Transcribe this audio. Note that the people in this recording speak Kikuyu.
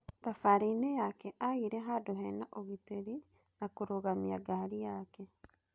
Thabarĩ-inĩ yake agire handũ hena ũgitĩri ha kũrũgamia ngari yake.